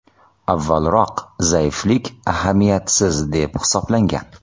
Avvalroq zaiflik ahamiyatsiz deb hisoblangan.